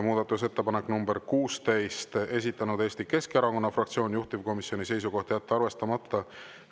Muudatusettepanek nr 16, esitanud Eesti Keskerakonna fraktsioon, juhtivkomisjoni seisukoht on jätta arvestamata.